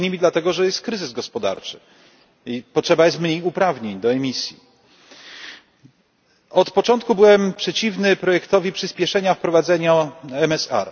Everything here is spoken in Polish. Między innymi dlatego, że jest kryzys gospodarczy i potrzeba jest mniej uprawnień do emisji. Od początku byłem przeciwny projektowi przyspieszenia wprowadzenia MSR.